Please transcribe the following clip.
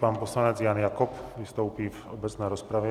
Pan poslanec Jan Jakob vystoupí v obecné rozpravě.